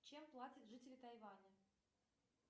чем платят жители тайваня